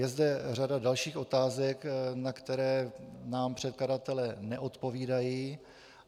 Je zde řada dalších otázek, na které nám předkladatelé neodpovídají.